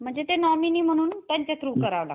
म्हणजे ते नॉमिनी म्हणून त्यांच्या थ्रू करावं लागतं.